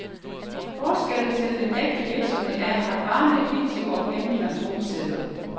Forskellen til en ægte virksomhed er, at varerne er fiktive og pengene fantomsedler.